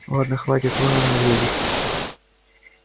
ладно хватит вон она едет